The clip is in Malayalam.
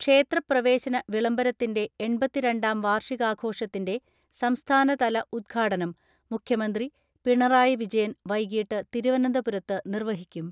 ക്ഷേത്രപ്രവേശന വിളംബരത്തിന്റെ എൺപത്തിരണ്ടാം വാർഷികാഘോഷത്തിന്റെ സംസ്ഥാനതല ഉദ്ഘാടനം മുഖ്യമന്ത്രി പിണറായി വിജയൻ വൈകിട്ട് തിരുവനന്തപുരത്ത് നിർവഹിക്കും.